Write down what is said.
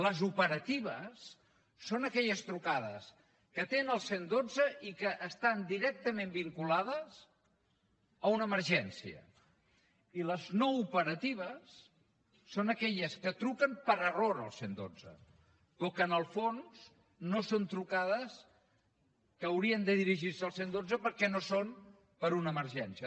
les operatives són aquelles trucades que atén el cent i dotze i que estan directament vinculades a una emergència i les no operatives són aquelles que truquen per error al cent i dotze o que en el fons no són trucades que haurien de dirigir se al cent i dotze perquè no són per una emergència